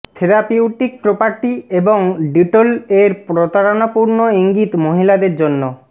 therapeutic property এবং Dettol এর প্রতারণাপূর্ণ ইঙ্গিত মহিলাদের জন্য